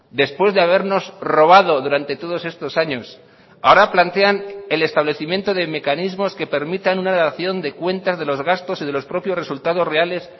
después de habernos robado durante todos estos años ahora plantean el establecimiento de mecanismos que permitan una dación de cuentas de los gastos y de los propios resultados reales